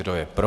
Kdo je pro?